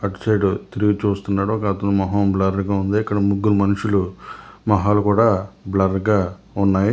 అటు సైడు తిరిగి చూస్తున్నాడు ఒక అతను మొహం బ్లర్ గా ఉంది ఇక్కడ ముగ్గురు మనుషులు మొహాలు కూడా బ్లర్ గా ఉన్నాయి.